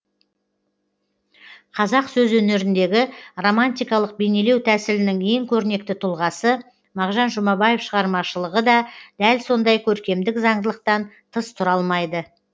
қазақ сөз өнеріндегі романтикалық бейнелеу тәсілінің ең көрнекті тұлғасы мағжан жұмабаев шығармашылығы да дәл сондай көркемдік заңдылықтан тыс тұра алмайды